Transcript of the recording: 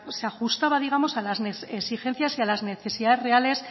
se ajustaba digamos a las exigencias y a las necesidades reales